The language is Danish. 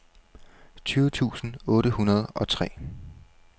tyve tusind otte hundrede og tre